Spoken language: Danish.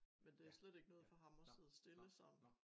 Men det slet ikke noget for ham at sidde stille sådan